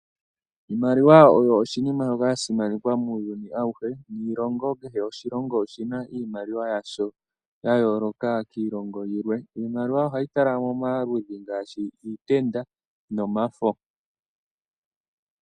Iimaliwa oyo oshinima sha simanekwa muuyuni awuhe noshilongo kehe oshi na iimaliwa yadho ya yooloka kiilongo yilwe. Iimaliwa ohayi kala momaludhi ngaashi iitenda omafo.